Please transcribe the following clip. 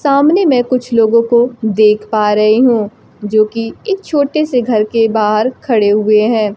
सामने में कुछ लोगों को देख पा रही हूं जोकि एक छोटे से घर के बाहर खड़े हुए हैं।